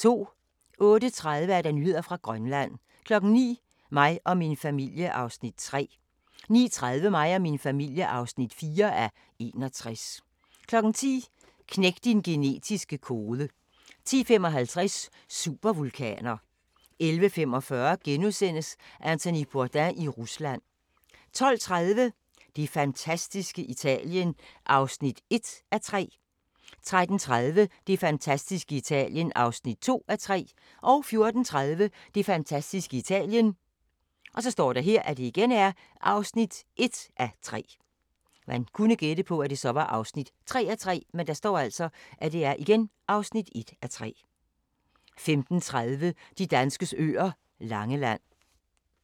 08:30: Nyheder fra Grønland 09:00: Mig og min familie (3:61) 09:30: Mig og min familie (4:61) 10:00: Knæk din genetiske kode 10:55: Supervulkaner 11:45: Anthony Bourdain i Rusland * 12:30: Det fantastiske Italien (1:3) 13:30: Det fantastiske Italien (2:3) 14:30: Det fantastiske Italien (1:3) 15:30: De danskes øer: Langeland